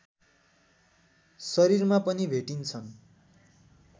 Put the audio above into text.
शरीरमा पनि भेटिन्छन्